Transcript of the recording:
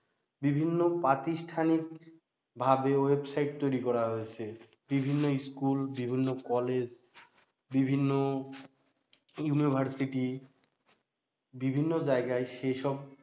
বিভিন্ন প্রাতিষ্ঠানিকভাবে ওয়েবসাইট তৈরি করা হয়েছে বিভিন্ন school বিভিন্ন কলেজ বিভিন্ন university বিভিন্ন জায়গায় সেইসব